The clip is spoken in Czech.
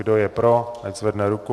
Kdo je pro, ať zvedne ruku.